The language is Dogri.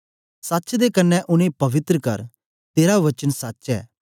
सच्च दे कन्ने उनेंगी पवित्र कर तेरा वचन सच्च ऐ